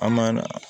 An ma